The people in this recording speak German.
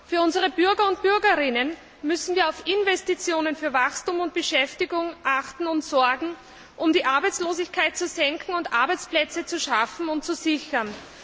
Für unsere Bürger und Bürgerinnen müssen wir auf Investitionen für Wachstum und Beschäftigung achten, um die Arbeitslosigkeit zu senken und Arbeitsplätze zu schaffen und zu sichern.